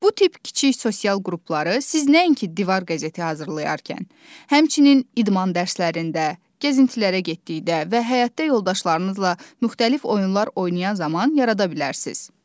Bu tip kiçik sosial qrupları siz nəinki divar qəzeti hazırlayarkən, həmçinin idman dərslərində, gəzintilərə getdikdə və həyatda yoldaşlarınızla müxtəlif oyunlar oynayan zaman yarada bilərsiz.